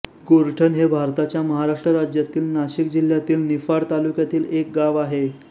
गोरठण हे भारताच्या महाराष्ट्र राज्यातील नाशिक जिल्ह्यातील निफाड तालुक्यातील एक गाव आहे